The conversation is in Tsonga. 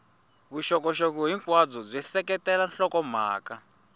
vuxokoxoko hinkwabyo byi seketela nhlokomhaka